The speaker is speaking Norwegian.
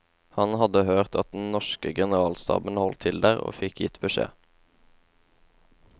Han hadde hørt at den norske generalstaben holdt til der, og fikk gitt beskjed.